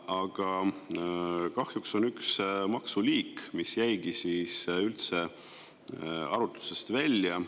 Aga kahjuks on üks maksuliik, mis jäi siis üldse arutlusest välja.